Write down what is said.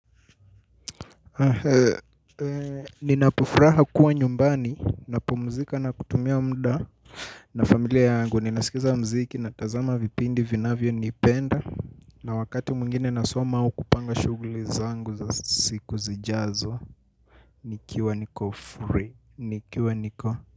Ninapofuraha kuwa nyumbani, napumzika na kutumia muda. Na familia yangu, ninasikiza mziki natazama vipindi ninavyovipenda. Na wakati mwingine nasoma au kupanga shughuli zangu za siku zijazo. Nikiwa niko free, nikiwa niko.